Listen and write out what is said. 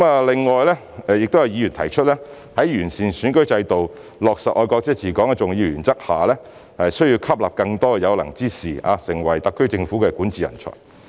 另外，有議員提出在完善選舉制度，落實"愛國者治港"的重要原則下，需要吸納更多有能之士，成為特區政府的管治人才。